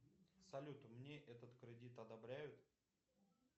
салют мне этот кредит одобряют